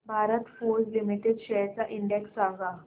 Bharat Forge limited shares चा index सांगा